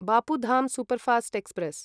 बपु धं superfast express